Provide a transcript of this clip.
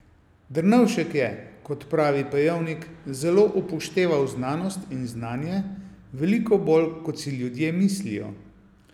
Drnovšek je, kot pravi Pejovnik, zelo upošteval znanost in znanje, veliko bolj, kot si ljudje mislijo.